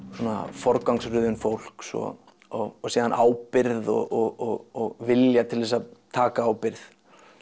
forgangsröðun fólks og og síðan ábyrgð og vilja til þess að taka ábyrgð